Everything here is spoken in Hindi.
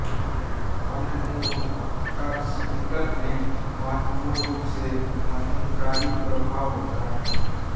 अन्य न्यूरोट्रांसमीटर में महत्वपूर्ण रूप से मद्धमकारी प्रभाव होता है